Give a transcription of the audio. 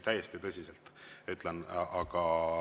Täiesti tõsiselt ütlen.